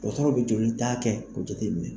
Dɔgɔtɔrɔw bɛ joli ta kɛ ko jateminɛ.